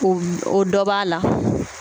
O o dɔ b'a la.